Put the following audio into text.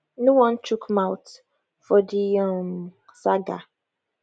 no wan chook mouth for di um saga